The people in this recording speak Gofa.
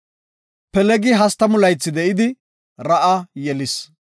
Pelegi 30 laythi de7idi, Ra7a yelis.